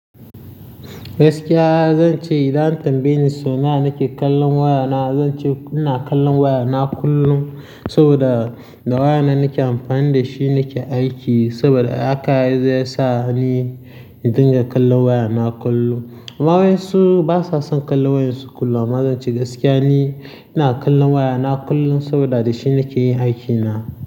Gaskiya zan ce idan an tambaye ni sau nawa nake kallon wayana, zan ce ina kallon wayana kullum saboda da wayana nake amfani da shi nake aiki saboda haka zai sa ni in dinga kallon wayana kullum. Amma wasu ba sa son kallon wayarsu kullum, amma zan ce gaskiya ni ina kallon wayana kullum saboda da shi nake yin aikina.